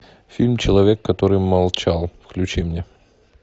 фильм человек который молчал включи мне